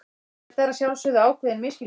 Þetta er að sjálfsögðu ákveðinn misskilningur.